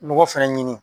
Nɔgɔ fɛnɛ ɲini